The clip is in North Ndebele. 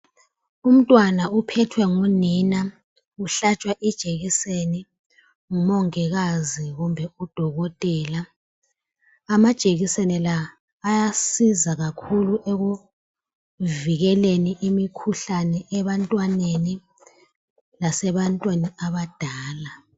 Umntwana uphethwe ngunina, uhlatshwa ijekiseni ngumongikazi kumbe udokotela. Amajekiseni la ayasiza kakhulu ekuvikeleni imikhuhlane ebantwaneni lasebantwini abadala.